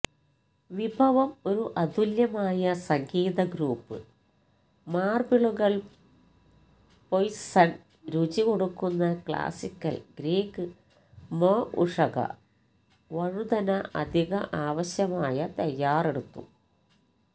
വിഭവം ഒരു അതുല്യമായ സംഗീതഗ്രൂപ്പ് മാർബിളുകൾ പൊയ്സണ് രുചി കൊടുക്കുന്ന ക്ലാസിക്കൽ ഗ്രീക്ക് മൊഉഷക വഴുതന അധിക ആവശ്യമായ തയ്യാറെടുത്തു